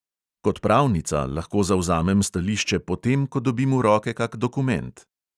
Kot pravnica lahko zavzamem stališče potem, ko dobim v roke kak dokument.